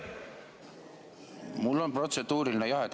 Mul on protseduuriline jah.